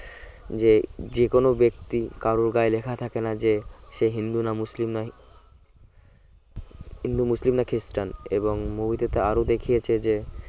যে যেকোন ব্যক্তি কারর গায়ে লেখা থাকে না যে সে হিন্দু না মুসলিম না হিন্দু মুসলিম না খ্রিস্টান এবং movie টাতে আরো দেখিয়েছে যে